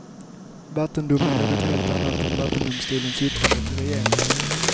Vattendom är något helt annat än vattendomstolens yttrande till regeringen.